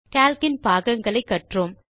Calc இன் பாகங்களை கற்றோம்